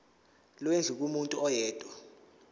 lwendlu kumuntu oyedwa